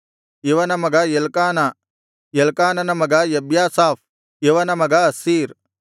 ಇವನ ಮಗ ಎಲ್ಕಾನ ಎಲ್ಕಾನನ ಮಗ ಎಬ್ಯಾಸಾಫ್ ಇವನ ಮಗ ಅಸ್ಸೀರ್